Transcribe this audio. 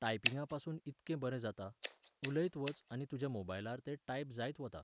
टायपिंगपासून इतकें बरें जाता, उलयत वच आनी तुज्या मोबायलार तें टायप जायत वता.